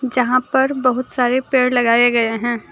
जहां पर बहुत सारे पेड़ लगाए गए हैं।